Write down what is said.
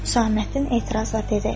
Saməddin etirazla dedi: